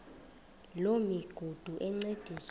loo migudu encediswa